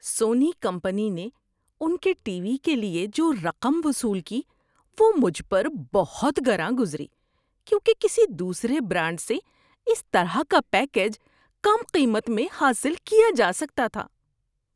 سونی company نے ان کے ٹی وی کے لیے جو رقم وصول کی وہ مجھ پر بہت گراں گزری کیونکہ کسی دوسرے برانڈ سے اسی طرح کا پیکیج کم قیمت میں حاصل کیا جا سکتا تھا۔